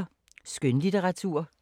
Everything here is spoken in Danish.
Skønlitteratur